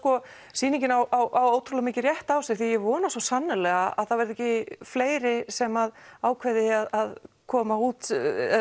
sýningin á ótrúlega mikinn rétt á sér því ég vona svo sannarlega að það verði ekki fleiri sem ákveði að koma út